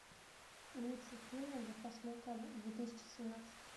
лучшие фильмы для просмотра две тысячи семнадцать